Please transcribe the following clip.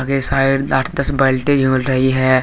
इस साइड आठ दस बाल्टी झूल रही है।